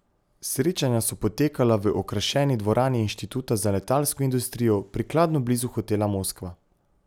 Srečanja so potekala v okrašeni dvorani Inštituta za letalsko industrijo, prikladno blizu hotela Moskva.